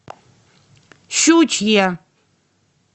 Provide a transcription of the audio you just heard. щучье